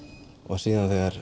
síðan þegar